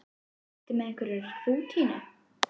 Ertu með einhverja rútínu?